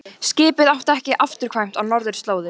Skipið átti ekki afturkvæmt á norðurslóðir.